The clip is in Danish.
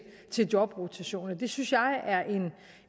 jobrotation det synes jeg